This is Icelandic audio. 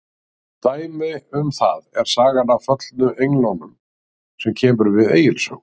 Dæmi um það er sagan af föllnu englunum sem kemur við Egils sögu.